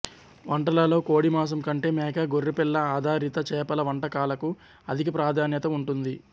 వంటలలో కోడిమాంసం కంటే మేక గొర్రెపిల్ల ఆధారిత చేపల వంటకాలకు అధిక ప్రాధాన్యత ఉంటుంది